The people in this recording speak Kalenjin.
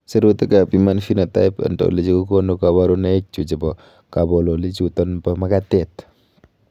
Sirutikab Human Phenotype Ontology kokonu koborunoikchu chebo kabololichuton en makatet.